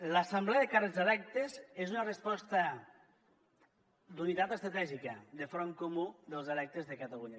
l’assemblea de càrrecs electes és una resposta d’unitat estratègica de front comú dels electes de catalunya